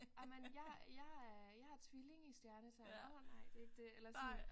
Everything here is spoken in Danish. Jamen jeg jeg er jeg er tvilling i stjernetegn åh nej det er ikke det eller sådan